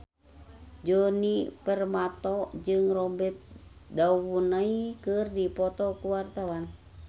Djoni Permato jeung Robert Downey keur dipoto ku wartawan